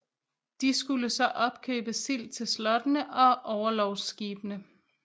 De skulle så opkøbe sild til slottene og orlogsskibene